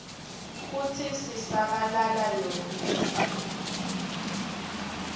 kutsi sisabalala yonkhe